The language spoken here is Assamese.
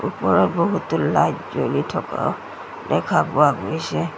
ওপৰত বহুতো লাইট জ্বলি থকা দেখা পোৱা গৈছে।